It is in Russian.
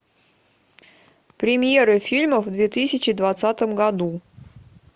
премьеры фильмов в две тысячи двадцатом году